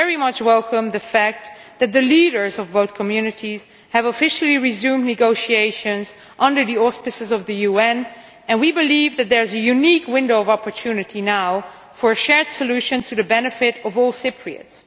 We very much welcome the fact that the leaders of both communities have officially resumed negotiations under the auspices of the UN, and we believe that there is a unique window of opportunity now for a shared solution to the benefit of all Cypriots.